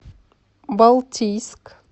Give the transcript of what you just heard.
балтийск